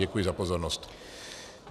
Děkuji za pozornost.